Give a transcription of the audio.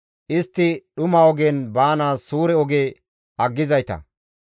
Istti dhuma ogen baanaas suure oge aggizayta;